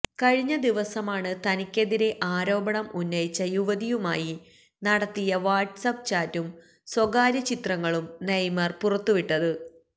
കഴിഞ്ഞ ദിവസമാണ് തനിക്കെതിരെ ആരോപണം ഉന്നയിച്ച യുവതിയുമായി നടത്തിയ വാട്സ്ആപ്പ് ചാറ്റും സ്വകാര്യ ചിത്രങ്ങളും നെയ്മര് പുറത്തു വിട്ടത്